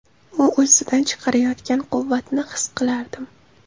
U o‘zidan chiqarayotgan quvvatni his qilardim.